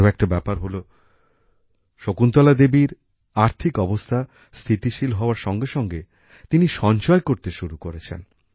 আরও একটা ব্যাপার হলো শকুন্তলা দেবীর আর্থিক অবস্থা স্থিতিশীল হওয়ার সঙ্গে সঙ্গে তিনি সঞ্চয় করতে শুরু করেছেন